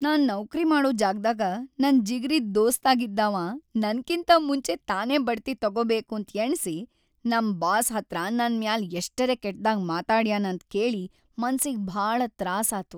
ನಾನ್‌ ನೌಕ್ರಿ ಮಾಡೋ ಜಾಗ್ದಾಗ ನನ್‌ ಜಿಗ್ರೀ ದೋಸ್ತಾಗಿದ್ದಾವ ನನಕಿಂತ ಮುಂಚೆ ತಾನೇ ಬಡ್ತಿ ತಕೋಬೇಕಂತ್‌ ಎಣ್ಸಿ ನಮ್‌ ಬಾಸ್‌ ಹತ್ರ ನನ ಮ್ಯಾಲ್‌ ಎಷ್ಟರೆ ಕೆಟ್ದಾಗ್‌ ಮಾತಾಡ್ಯಾನಂತ್‌ ಕೇಳಿ ಮನ್ಸಿಗ್‌ ಭಾಳ ತ್ರಾಸಾತು.